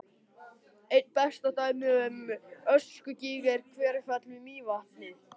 Einna best dæmi um öskugíg er Hverfjall við Mývatn.